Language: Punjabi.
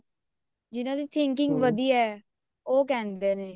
ਜਿਹਨਾ ਦੀ thinking ਵਧੀਆ ਉਹ ਕਹਿੰਦੇ ਨੇ